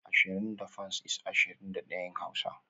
Ashirin da fans is (ashirin da daya) in hausa